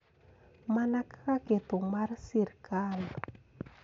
Mana kaka ketho mar sirkal.